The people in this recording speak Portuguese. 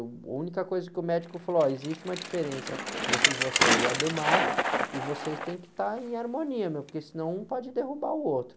A única coisa que o médico falou, ó, existe uma diferença entre você e o e vocês têm que estar em harmonia, meu, porque senão um pode derrubar o outro.